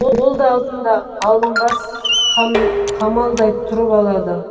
ол да алдында алынбас қамалдай тұрып алады